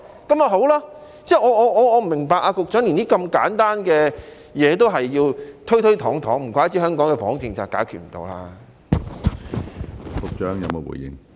我不明白局長連如此簡單的東西也要推推搪搪，難怪香港的房屋政策解決不了。